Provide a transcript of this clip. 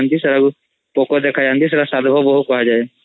ସେଗକୁ ସାଧବ୍ ବହୁ ପୋକୋ କୁହାଯାଏ